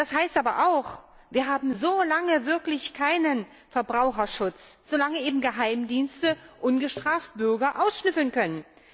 Das heißt aber auch, wir haben solange wirklich keinen Verbraucherschutz, solange Geheimdienste Bürger ungestraft ausschnüffeln können.